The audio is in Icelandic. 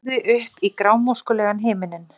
Horfði upp í grámóskulegan himininn.